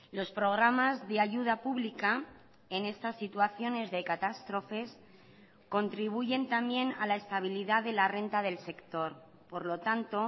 los programas de ayuda pública en estas situaciones de catástrofes contribuyen también a la estabilidad de la renta del sector por lo tanto